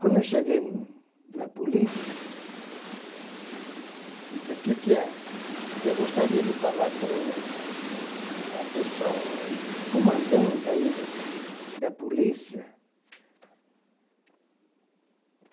Quando eu cheguei na polícia, falou o que que é. Eu gostaria de falar com uma pessoa, comandante aí do da polícia.